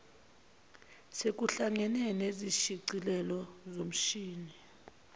sekuhlangene nezishicilelo zomshini